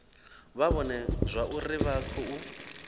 vha vhone zwauri vha khou